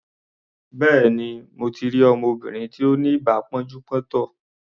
Béèni, mo ti rí ọmọbìnrin tí ó ní ibà pọ́njú-pọ́ntọ̀.